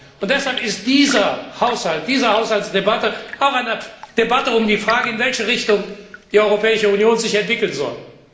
Und deshalb ist dieser Haushalt, diese Haushaltsdebatte, auch eine Debatte über die Frage, in welche Richtung die Europäische Union sich entwickeln soll.